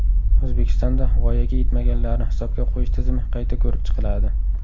O‘zbekistonda voyaga yetmaganlarni hisobga qo‘yish tizimi qayta ko‘rib chiqiladi.